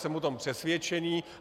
Jsem o tom přesvědčený.